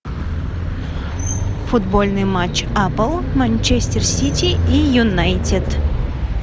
футбольный матч апл манчестер сити и юнайтед